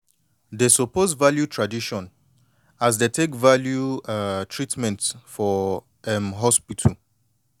dey suppose value tradition as dey take value um treatment for um hospital